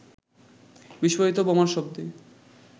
বিস্ফোরিত বোমার শব্দে